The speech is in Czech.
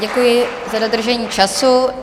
Děkuji za dodržení času.